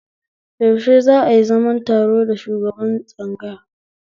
Yaushe za'a yi zaman taro da shugaban tsangaya?